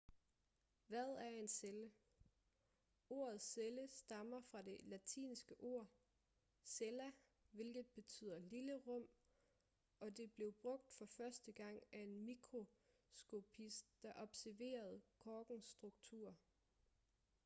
hvad er en celle ordet celle stammer fra det latinske ord cella hvilket betyder lille rum og det blev brugt for første gang af en mikroskopist der observerede korkens struktur